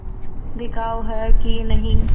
बिकाऊ है कि नहीं